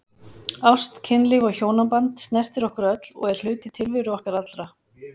Ást, kynlíf og hjónaband snertir okkur öll og er hluti tilveru okkar allra.